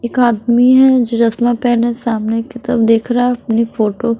एक आदमी है जो चश्मा पहने सामने की तरफ देख रहा है अपनी फोटो।